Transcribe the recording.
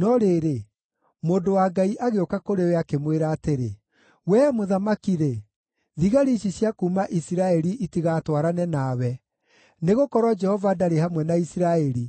No rĩrĩ, mũndũ wa Ngai agĩũka kũrĩ we, akĩmwĩra atĩrĩ, “Wee mũthamaki-rĩ, thigari ici cia kuuma Isiraeli itigatwarane nawe, nĩgũkorwo Jehova ndarĩ hamwe na Isiraeli,